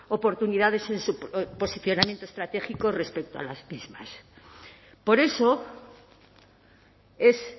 oportunidades en su posicionamiento estratégico respecto a las mismas por eso es